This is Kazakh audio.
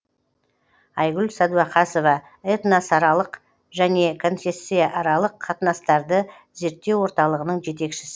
айгүл сәдуақасова этносаралық және конфессияаралық қатынастарды зерттеу орталығының жетекшісі